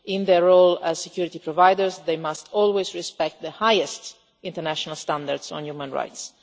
In their role as security providers, they must always respect the highest international standards on human rights.